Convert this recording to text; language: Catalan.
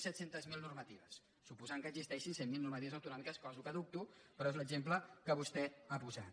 zero normatives suposant que existeixin cent mil normatives autonòmiques cosa que dubto però és l’exemple que vostè ha posat